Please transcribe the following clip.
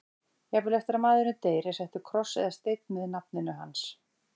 Jafnvel eftir að maðurinn deyr er settur kross eða steinn með nafninu hans.